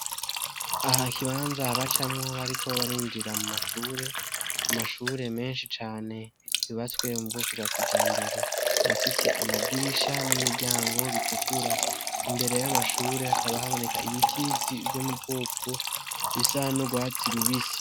Aha hari ikibanza bacamwo bariko barinjira mu mashuri amashuri meshi cane yubatse mu bwoko bwa kijambere akaba afise amadirisha n'imiryango bitukura imbere y'amashuri hakaba haboneka ibiti vyo mu bwoko bisa n'urwatsi rubisi